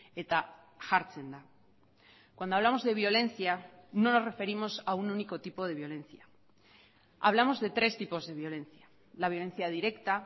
eta jartzen da cuando hablamos de violencia no nos referimos a un único tipo de violencia hablamos de tres tipos de violencia la violencia directa